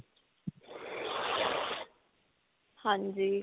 ਹਾਂਜੀ .